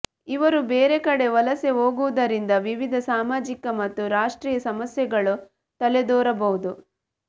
ಇವರು ಬೇರೆ ಕಡೆ ವಲಸೆ ಹೋಗುವುದರಿಂದ ವಿವಿಧ ಸಾಮಾಜಿಕ ಮತ್ತು ರಾಷ್ಟ್ರೀಯ ಸಮಸ್ಯೆಗಳು ತಲೆದೋರಬಹುದು